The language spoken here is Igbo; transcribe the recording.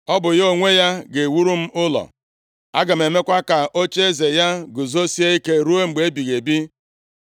Ọ bụ ya onwe ya ga-ewuru m ụlọ, aga m emekwa ka ocheeze ya guzosie ike ruo mgbe ebighị ebi.